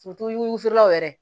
wusulanw yɛrɛ